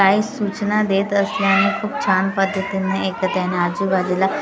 काही सूचना देत असल्याने खूप छान पद्धतीने ऐकत आहे आणि आजूबाजूला--